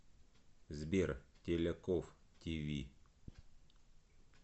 сбер теляков ти ви